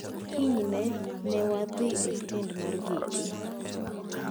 Kinyne newadhi e stend mar geche.